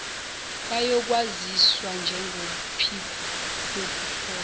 bayokwaziwa njengophiko lokuhlolwa